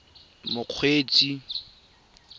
mokgweetsi